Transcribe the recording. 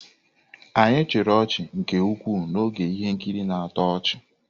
Anyị chịrị ọchị nke ukwuu n'oge ihe nkiri na-atọ ọchị.